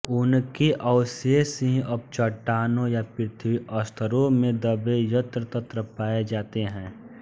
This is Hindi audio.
उनके अवशेष ही अब चट्टानों या पृथ्वी स्तरों में दबे यत्र तत्र पाए जाते हैं